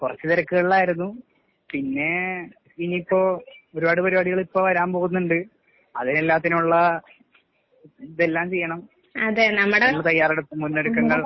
കൊറച്ച് തെരക്കുകളിലായിരുന്നു. പിന്നേ ഇനീപ്പോ ഒരുപാട് പരിപാടികള് ഇപ്പൊ വരാൻ പോവുന്നുണ്ട്. അതിന് എല്ലാത്തിനുള്ള ഇതെല്ലാം ചെയ്യണം നമ്മ് തയ്യാറെടുപ്പ് മുന്നൊരുക്കങ്ങൾ